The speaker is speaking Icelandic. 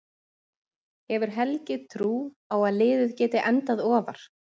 Hefur Helgi trú á að liðið geti endað ofar?